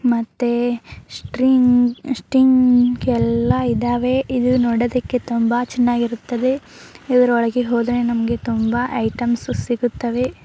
ಮತ್ತೆ string sting ಎಲ್ಲಾ ಇದಾವೆ ನೋಡೋದಕ್ಕೆ ತುಂಬಾ ಚೆನ್ನಾಗಿರುತ್ತದೆ ಇದರ ಒಳಗೆ ಹೋದರೆ ನಮಗೆ ತುಂಬಾ ಐಟಮ್ಸ್ ಸಿಗುತ್ತವೆ.